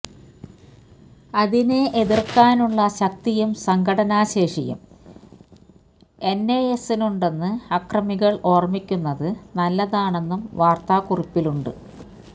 അതിനെ എതിര്ക്കാനുള്ള ശക്തിയും സംഘടനാ ശേഷിയും എന്എസ്എസിനുണ്ടെന്ന് അക്രമികള് ഓര്മിക്കുന്നത് നല്ലതാണെന്നും വാര്ത്താക്കുറിപ്പിലുണ്ട്